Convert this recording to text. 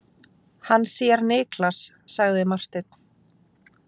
Hann sér Niklas, sagði Marteinn.